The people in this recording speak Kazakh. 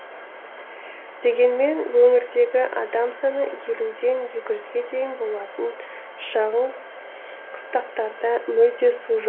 дегенмен өңірдегі адам саны елуден екі жүзге дейін болатын шағын қыстақтарда мүлде су жоқ